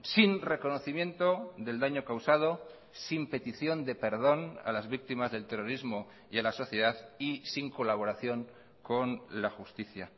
sin reconocimiento del daño causado sin petición de perdón a las víctimas del terrorismo y a la sociedad y sin colaboración con la justicia